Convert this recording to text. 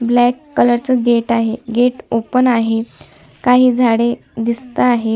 Black colour च gate आहे gate open आहे काही झाडे दिसता आहे.